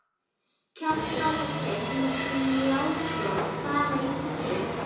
Kjartan Hreinn Njálsson: Fara í pottinn?